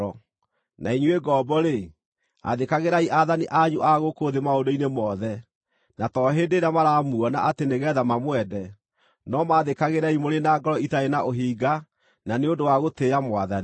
Na inyuĩ ngombo-rĩ, athĩkagĩrai aathani anyu a gũkũ thĩ maũndũ-inĩ mothe, na to hĩndĩ ĩrĩa maramuona atĩ nĩgeetha mamwende, no maathĩkagĩrei mũrĩ na ngoro itarĩ na ũhinga na nĩ ũndũ wa gũtĩĩa Mwathani.